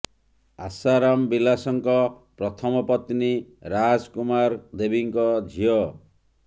ଆଶା ରାମ ବିଲାଶଙ୍କ ପ୍ରଥମ ପତ୍ନୀ ରାଜ୍ କୁମାର ଦେବୀଙ୍କ ଝିଅ